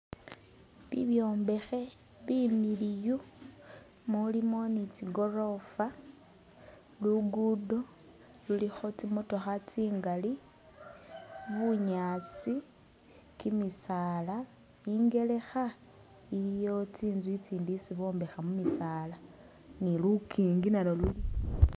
Bibyombekhe bimiliyu mulimo ni tsi gorofa luggudo lulikho tsi'motokha tsingali bunyaasi, kimisaala shangelekha iliwo tsinzu tsitsi tsesi bombekha mu'bisaala nilukingi nalwo khalubonekha